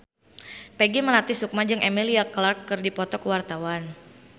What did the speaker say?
Peggy Melati Sukma jeung Emilia Clarke keur dipoto ku wartawan